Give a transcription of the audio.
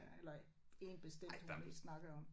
Øh eller én bestemt hun mest snakkede om